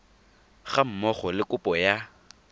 ga mmogo le kopo ya